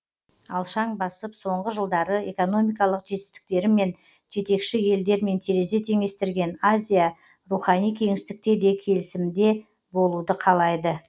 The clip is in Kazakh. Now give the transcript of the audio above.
алшаң басып соңғы жылдары экономикалық жетістіктерімен жетекші елдермен терезе теңестірген азия рухани кеңістікте де келісімде болуды қалайды